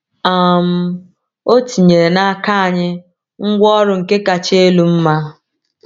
um O tinyere n’aka anyị ngwaọrụ nke kacha elu mma.